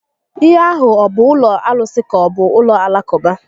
Ihe a hụ ọ bụ ụlọ arụsi ka-ọbụ ụlọ Alakụba?